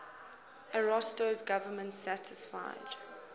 ariosto's government satisfied